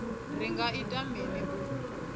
ri nga ita mini u